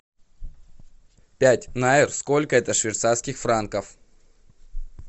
пять найр сколько это швейцарских франков